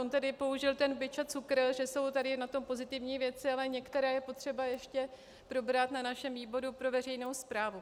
On tady použil ten bič a cukr, že jsou tady na tom pozitivní věci, ale některé je potřeba ještě probrat na našem výboru pro veřejnou správu.